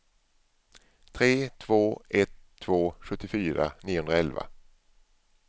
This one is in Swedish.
tre två ett två sjuttiofyra niohundraelva